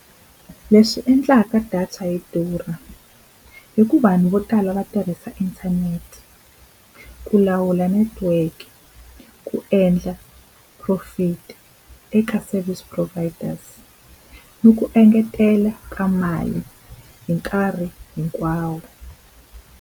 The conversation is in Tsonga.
Leswi endlaka data yi durha, i ku vanhu vo tala va tirhisa inthanete, ku lawula network, ku endla profit eka service providers ni ku engetela ka mali hi nkarhi hinkwawo.